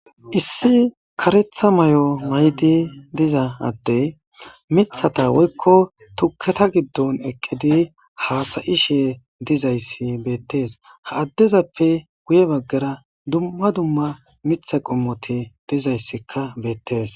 Issi karetha may7o maydi diza addey mithata woykko tuketa giddon eqqidi haasayishe dizayssi beettees ha addezappe guye baggara dumma dumma mitha qommoti dizayssikka beettees.